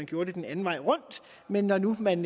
gjorde det den anden vej rundt men når nu man